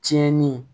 Tiɲɛni